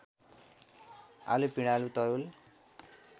आलु पिँडालु तरुल